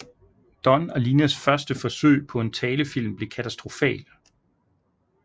Don og Linas første forsøg på en talefilm bliver katastrofal